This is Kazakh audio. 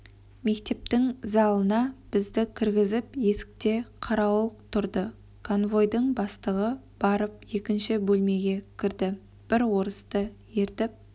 мектептің залына бізді кіргізіп есікте қарауыл тұрды конвойдың бастығы барып екінші бөлмеге кірді бір орысты ертіп